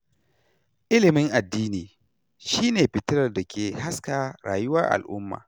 ilimin addini shi ne fitilar da ke haska rayuwar al'umma.